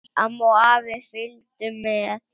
Amma og afi fylgdu með.